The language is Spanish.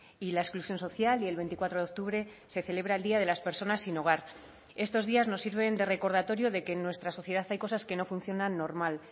y la exclusión social y el veinticuatro de octubre se celebra el día de las personas sin hogar estos días nos sirven de recordatorio de que en nuestra sociedad hay cosas que no funcionan normal